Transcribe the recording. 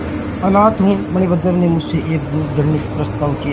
अनाथ हूँ मणिभद्र ने मुझसे एक दिन घृणित प्रस्ताव किया